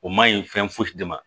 O ma ɲi fɛn foyi de ma